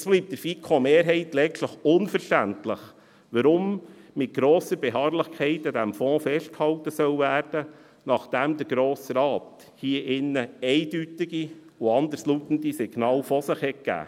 Es bleibt der FiKo-Mehrheit letztlich unverständlich, weshalb mit grosser Beharrlichkeit an diesem Fonds festgehalten werden soll, nachdem der Grosse Rat hier drinnen diesbezüglich eindeutige und anderslautende Signale von sich gab.